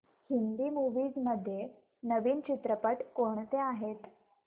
Hindi movies मध्ये नवीन चित्रपट कोणते आहेत